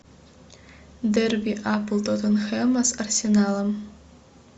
дерби апл тоттенхэма с арсеналом